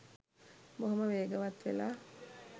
බොහොම වේගවත් වෙලා